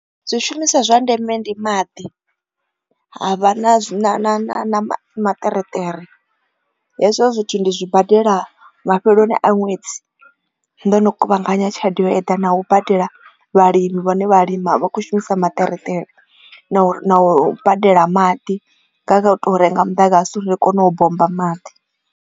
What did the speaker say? Zwi shumisa zwa ndeme ndi maḓi ha vha na maṱereṱere hezwo zwithu ndi zwibadela mafheloni a ṅwedzi ndo no kuvhanganya tshelede yo eḓana u badela vhalimi vhane vha lima vha khou shumisa maṱerekere na u badela maḓi nga u tou renga muḓagasi ri kone u bommba maḓi.